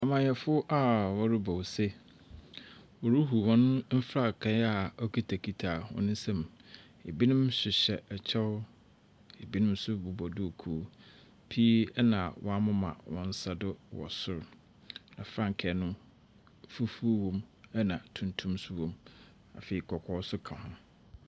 Amanyɛfo a wɔrobɔ ose. Woruhuw hɔn mfrankaa okitsakitsa hɔn nsamu. Binom hyehyɛ kyɛw na binom bobɔ duukuu. Pii na wɔamema hɔn nsa do wɔ sor. Na frankaa no, fufuw wɔ mu na tuntum so wɔ mu. Afei, kɔkɔɔ so ka ho.